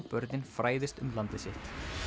börnin fræðist um landið sitt